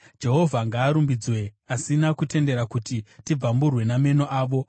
Jehovha ngaarumbidzwe, asina kutendera kuti tibvamburwe nameno avo.